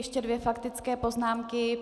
Ještě dvě faktické poznámky.